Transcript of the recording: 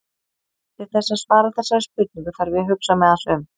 til þess að svara þessari spurningu þarf ég að hugsa mig aðeins um